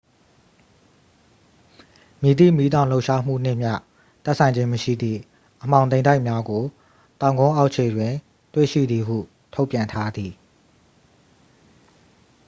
မည်သည့်မီးတောင်လှုပ်ရှားမှုနှင့်မျှ သက်ဆိုင်ခြင်းမရှိသည့် အမှောင်တိမ်တိုက်များကို တောင်ကုန်းအောက်ခြေတွင် တွေ့ရှိသည်ဟု ထုတ်ပြန်ထားသည်